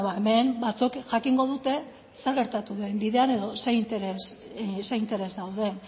hemen batzuek jakingo dute zer gertatu den bidean edo zer interes dauden